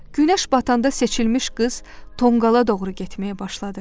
Günəş batanda seçilmiş qız tonqala doğru getməyə başladı.